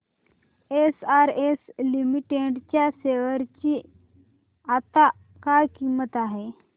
SRS limited च्या share ची आता काय किंमत आहे